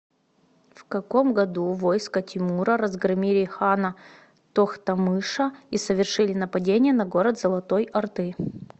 в каком году войска тимура разгромили хана тохтамыша и совершили нападение на город золотой орды